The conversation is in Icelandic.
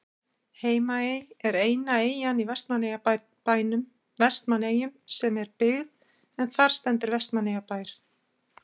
Heimaey er eina eyjan í Vestmannaeyjum sem er byggð en þar stendur Vestmannaeyjabær.